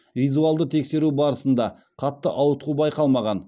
визуалды тексеру барысында қатты ауытқу байқалмаған